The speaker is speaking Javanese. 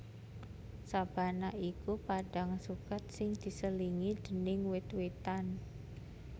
Sabana iku padhang suket sing diselingi déning wit witan